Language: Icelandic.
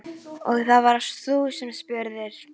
Og það varst þú sem spurðir.